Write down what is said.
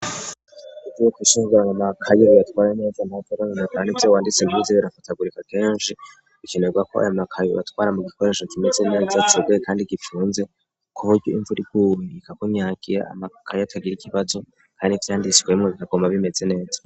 Iv uwuko ishingurana maakayirueatware neza ntavarabinotara n' ivyo wanditse gibuzi birafatagurika kenshi ikenerwa ko aya makayi batwara mu gikoresho kimeze neza cuguye, kandi gipfunze kuburyo imvurirwuwe ikagumyakira amakakayo atagira ikibazo, kandi ivyanditswemwe bigagoma bimeze neza.